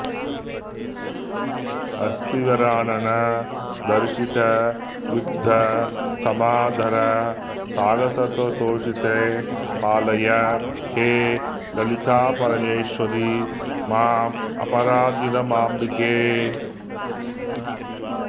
हस्तिवरानन दर्शितयुद्ध समादर साहसतोषिते पालय हे ललितापरमेश्वरि मामपराधिनमम्बिके